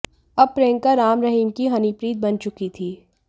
अब प्रियंका राम रहीम की हनीप्रीत बन चुकी थी